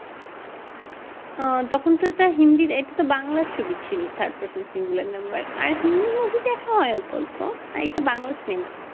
তখন তো তোর হিন্দির ইটা তো বাংলা ছবি ছিল third person singular number আর হিন্দি movie দেখা হয় অল্প অল্প আর এটা বাংলা cinema